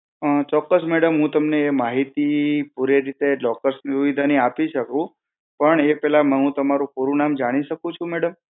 ચોક્કસ madam હું તમને એ માહિતી પુરી રીતે locker સુવિધા ની આપી શકું પણ એ પેહલા હું તમારું પૂરું નામ જાણી શકું છું madam?